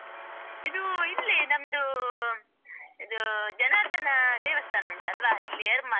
ಇದು ಇಲ್ಲೇ ನಮ್ದು, ಇದು ಜನಾರ್ದನ ದೇವಸ್ಥಾನ ಉಂಟಲ್ವಾ ಇಲ್ಲಿ ಎರ್ಮಾಲ್.